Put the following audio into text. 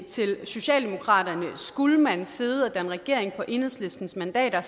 til socialdemokratiet skulle man sidde og danne regering på enhedslistens mandater er